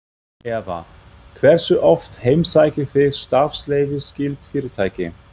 Eva: Hversu oft heimsækið þið starfsleyfisskyld fyrirtæki?